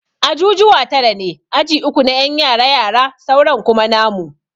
Ajujuwa tara ne, Aji uku na ƴan yara yara sauran kuma namu.